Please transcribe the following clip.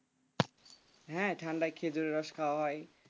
হ্যাঁ ঠান্ডায় খেজুরের রস খাওয়া হয়